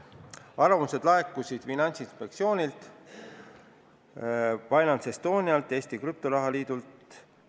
Arvamused laekusid Finantsinspektsioonilt, FinanceEstonialt, Eesti Krüptoraha Liidult.